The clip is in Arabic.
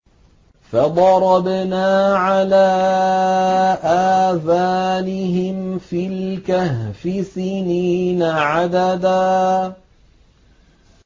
فَضَرَبْنَا عَلَىٰ آذَانِهِمْ فِي الْكَهْفِ سِنِينَ عَدَدًا